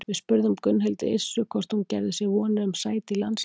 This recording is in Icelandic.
Við spurðum Gunnhildi Yrsu hvort hún gerði sér vonir um sæti í landsliðinu?